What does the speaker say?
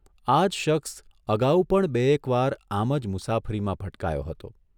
આ જ શખ્સ અગાઉ પણ બેએક વાર આમ જ મુસાફરીમાં ભટકાયો હતો.